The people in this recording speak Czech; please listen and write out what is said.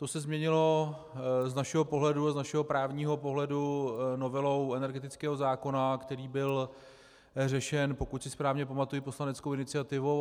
To se změnilo z našeho právního pohledu novelou energetického zákona, který byl řešen, pokud si správně pamatuji, poslaneckou iniciativou.